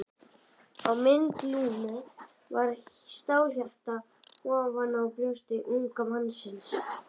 Á mynd Lúnu var stálhjarta ofan á brjósti unga mannsins.